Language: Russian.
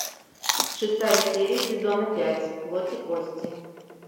шестая серия сезона пять плоть и кости